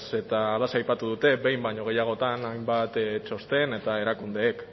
eta halaxe aipatu dute behin baino gehiagotan hainbat txosten eta erakundek